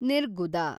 ನಿರ್ಗುದ